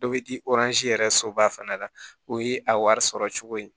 Dɔ bɛ i yɛrɛ soba fana la o ye a wari sɔrɔ cogo ye